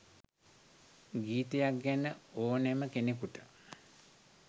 ගීතයක් ගැන ඕනෙම කෙනෙකුට